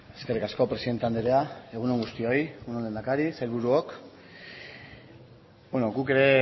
eskerrik asko presidente andrea egun on guztioi egun on lehendakari sailburuok beno guk ere